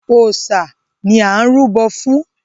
Òòṣà ni à ń rúbọ̀ fún.